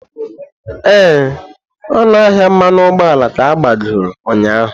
Ee, ọnụ ahịa mmanụ ụgbọala ka agbagoro ụnyaahụ.